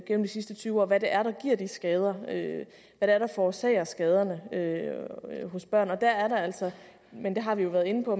gennem de sidste tyve år hvad det er der giver de skader hvad det er der forårsager skaderne hos børn og der er der altså men det har vi jo været inde på